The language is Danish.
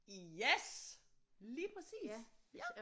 Yes lige præcis ja